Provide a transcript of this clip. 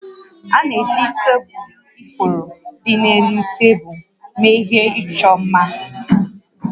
A na-eji ite ifuru dị n'elu tebulu mee ihe ịchọ mma